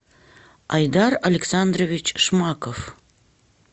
айдар александрович шмаков